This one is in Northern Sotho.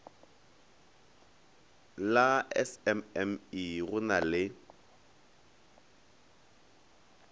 la smme go na le